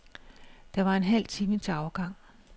Der var en halv time til afgang.